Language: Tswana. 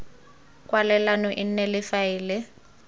kwalelano e nne le faele